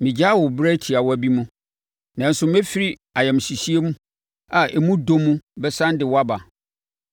“Megyaa wo berɛ tiawa bi mu, nanso mefiri ayamhyehyeɛ a emu dɔ mu bɛsane de wo aba.